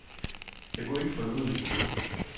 Jeg kunne ikke få det ud af mit hoved.